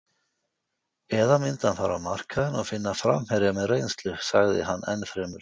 Eða myndi hann fara á markaðinn og finna framherja með reynslu? sagði hann ennfremur.